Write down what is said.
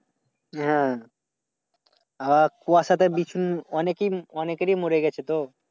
হ্যাঁ হ্যাঁ কুয়াশাতে বিছু অনেকে অনেকেরি মরে গেছে তো।